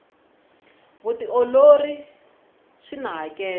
vutiolori swina hakelo